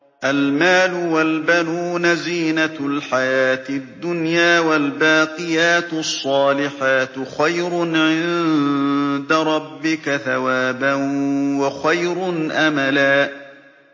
الْمَالُ وَالْبَنُونَ زِينَةُ الْحَيَاةِ الدُّنْيَا ۖ وَالْبَاقِيَاتُ الصَّالِحَاتُ خَيْرٌ عِندَ رَبِّكَ ثَوَابًا وَخَيْرٌ أَمَلًا